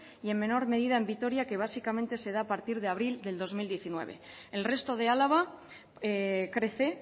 y en menor medida en vitoria que básicamente se da a partir de abril del dos mil diecinueve el resto de álava crece